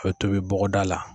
A bɛ tobi bɔgɔda la.